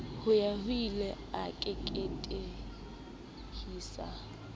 ho ya hoile a keketehisa